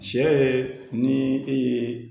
Cɛ ye ni e ye